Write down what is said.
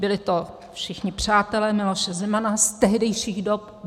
Byli to všichni přátelé Miloše Zemana z tehdejších dob.